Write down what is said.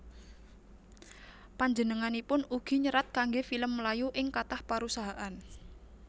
Panjenenganipun ugi nyerat kanggé film Melayu ing kathah parusahaan